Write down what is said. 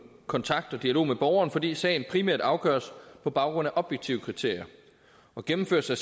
kontakt og dialog med borgeren fordi sagen primært afgøres på baggrund af objektive kriterier gennemførelse af